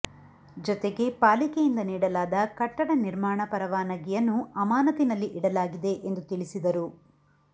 ಜತೆಗೆ ಪಾಲಿಕೆಯಿಂದ ನೀಡಲಾದ ಕಟ್ಟಡ ನಿರ್ಮಾಣ ಪರವಾನಗಿಯನ್ನು ಅಮಾನತಿನಲ್ಲಿ ಇಡಲಾಗಿದೆ ಎಂದು ತಿಳಿಸಿದರು